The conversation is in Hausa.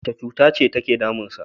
Wace cutace take damunsa?